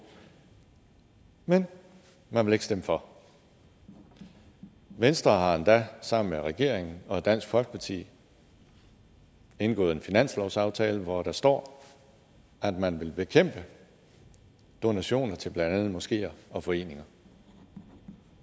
men man vil ikke stemme for venstre har endda sammen med regeringen og dansk folkeparti indgået en finanslovsaftale hvor der står at man vil bekæmpe donationer til blandt andet moskeer og foreninger